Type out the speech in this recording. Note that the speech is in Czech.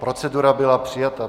Procedura byla přijata.